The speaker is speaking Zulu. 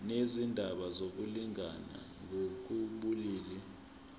nezindaba zokulingana ngokobulili